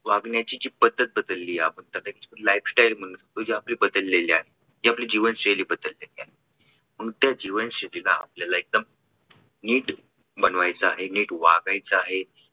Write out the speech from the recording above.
वागण्याची जी पद्धत बदलली आपण त्यापेक्षा lifestyle म्हणून जे आपली बदललेली आहे म्हणजे आपली जीवनशैली बदललेली आहे. म्हणून त्या जीवनशैलीला आपल्याला एकदम नीट बनवायच आहे. नीट वागायचं आहे.